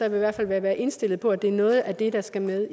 i hvert fald vil være indstillet på at det er noget af det der skal med